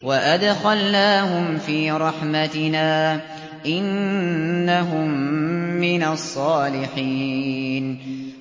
وَأَدْخَلْنَاهُمْ فِي رَحْمَتِنَا ۖ إِنَّهُم مِّنَ الصَّالِحِينَ